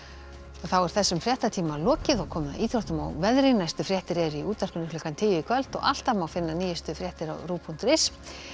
þá er þessum fréttatíma lokið og komið að íþróttum og veðri næstu fréttir eru í útvarpinu klukkan tíu í kvöld og alltaf má finna nýjustu fréttir á rúv punktur is